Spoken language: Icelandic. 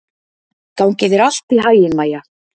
Gangi þér allt í haginn, Maía.